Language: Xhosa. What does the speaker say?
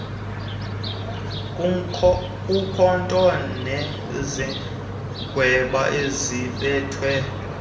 ngumkhonto nesagweba ezibekwe